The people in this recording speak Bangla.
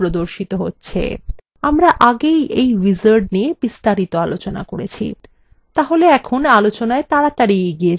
আমরা আগেই we wizard নিয়ে বিস্তারিত আলোচনা করেছি তাহলে এখন আলোচনায় তাড়াতাড়ি এগিয়ে যাওয়া যাক